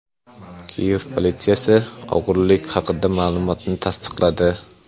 Kiyev politsiyasi o‘g‘irlik haqidagi ma’lumotni tasdiqladi.